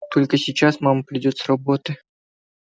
только сейчас мама придёт с работы